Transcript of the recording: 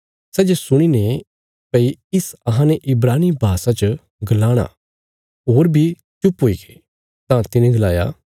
सै ये सुणी ने भई इस अहां ने इब्रानी भाषा च गलाणा कने बी चुप हुईगे तां तिने गलाया